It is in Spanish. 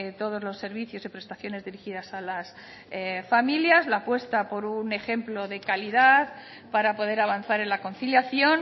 todos los servicios y prestaciones dirigidas a las familias la apuesta por un ejemplo de calidad para poder avanzar en la conciliación